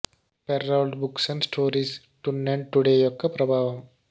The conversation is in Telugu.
Perrault books and stories then and today యొక్క ప్రభావం